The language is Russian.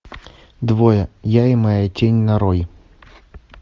двое я и моя тень нарой